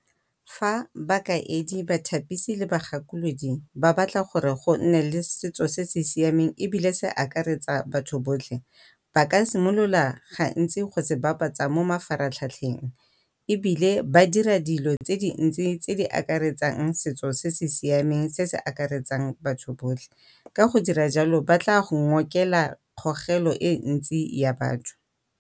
Fa bakaedi, bathapisi, le ba gakolodi ba batla gore go nne le setso se se siameng ebile se akaretsa batho botlhe. Ba ka simolola gantsi go se bapatsa mo mafaratlhatlheng, ebile ba dira dilo tse dintsi tse di akaretsang setso se se siameng se se akaretsang batho botlhe. Ka jalo ba tla go ngokela kgogelo e ntsi ya batho.